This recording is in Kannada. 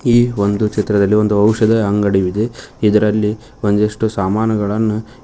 ಈ ಒಂದು ಚಿತ್ರದಲ್ಲಿ ಒಂದು ಔಷಧ ಅಂಗಡಿ ಇದೆ ಇದರಲ್ಲಿ ಒಂದಿಷ್ಟು ಸಾಮಾನುಗಳನ್ನ.